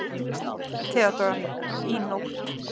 THEODÓRA: Í nótt.